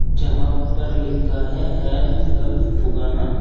यहां पर लिखा है हेल्थ कलफ फुगाना।